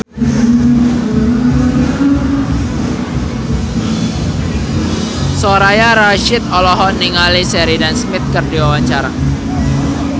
Soraya Rasyid olohok ningali Sheridan Smith keur diwawancara